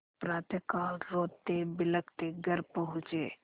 प्रातःकाल रोतेबिलखते घर पहुँचे